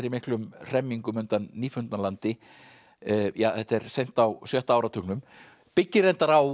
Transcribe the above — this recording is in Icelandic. miklum hremmingum undan Nýfundnalandi þetta er seint á sjötta áratugnum byggir reyndar á